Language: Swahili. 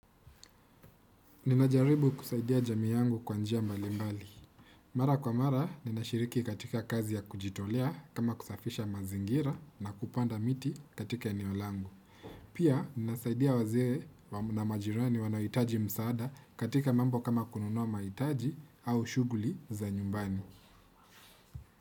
Nimejaribu kusaidia jamii yangu kwa njia malimbali. Mara kwa mara, ninashiriki katika kazi ya kujitolea kama kusafisha mazingira na kupanda miti katika eneo langu. Pia, ninasaidia wazee na majirani wanaohitaji msaada katika mambo kama kununua mahiitaji au shughuli za nyumbani.